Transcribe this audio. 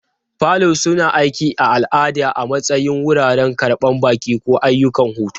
Falo suna aiki a al'ada a matsayin wuraren karɓan baƙi, ko ayyukan hutu.